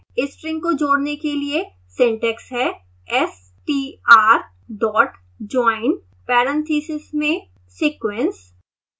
string को जोड़ने के लिए सिंटैक्स है str dot join parentheses में sequence